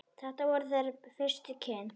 Þetta voru þeirra fyrstu kynni.